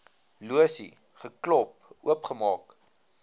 losie geklop oopgemaak